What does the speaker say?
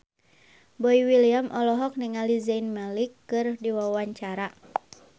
Boy William olohok ningali Zayn Malik keur diwawancara